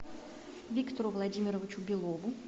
виктору владимировичу белову